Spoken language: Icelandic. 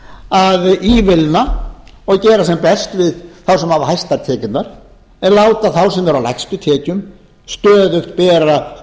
að ívilna og gera þeim best sem hafa hæstar tekjurnar en láta þá sem eru á lægstu tekjum stöðugt bera